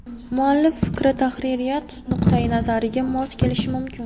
Muallif fikri tahririyat nuqtai nazariga mos kelishi mumkin.